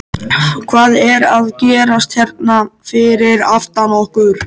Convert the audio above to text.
Hvað er að gerast hérna fyrir aftan okkur?